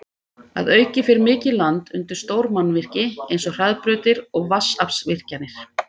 Að auki fer mikið land undir stór mannvirki eins og hraðbrautir og vatnsaflsvirkjanir.